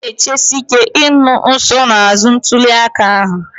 Anyị na-echesi ike ịnụ nsonaazụ ntuli aka ahụ